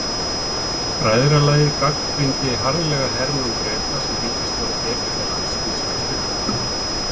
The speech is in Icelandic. Bræðralagið gagnrýndi harðlega hernám Breta sem ríkisstjórn Egyptalands hins vegar studdi.